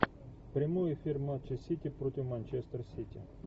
прямой эфир матча сити против манчестер сити